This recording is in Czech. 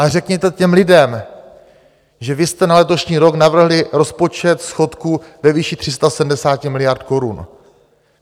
Ale řekněte těm lidem, že vy jste na letošní rok navrhli rozpočet schodku ve výši 370 miliard korun.